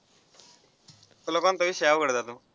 तुला कोणते विषय आवडतात